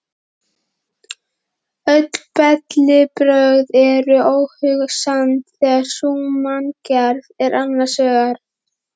Öll bellibrögð eru óhugsandi þegar sú manngerð er annars vegar.